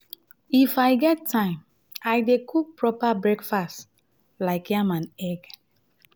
if i get time i dey cook proper breakfast like yam and egg.